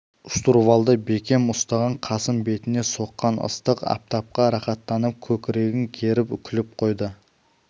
штурвалды бекем ұстаған қасым бетіне соққан ыстық аптапқа рақаттанып көкірегін керіп күліп қойды